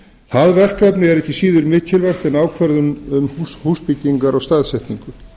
það verkefni er ekki síður mikilvægt en ákvörðun um húsbyggingar og staðsetningu